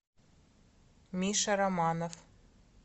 миша романов